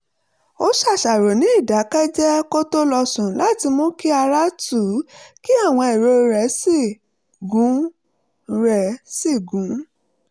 ó ṣàṣàrò ní ìdákẹ́jẹ́ẹ́ kó tó lọ sùn láti mú kí ara tù ú kí àwọn èrò rẹ̀ sì gún rẹ̀ sì gún